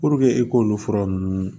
e k'olu fura ninnu